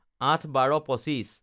০৮/১২/২৫